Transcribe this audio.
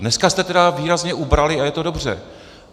Dneska jste tedy výrazně ubrali a je to dobře.